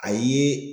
A ye